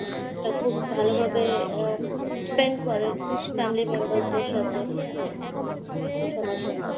তা খুব ভালোভাবে উম spend করে family member দের সাথে, সবার সাথে